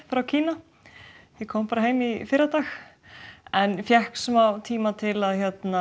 frá Kína ég kom bara heim í fyrradag en fékk svo tíma til að